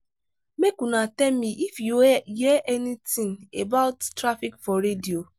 make una tell me if you hear anything about traffic for radio?